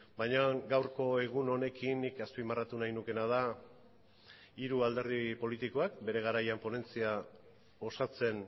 baina gaurko egun honekin nik azpimarratu nahi nukeena da hiru alderdi politikoak bere garaian ponentzia osatzen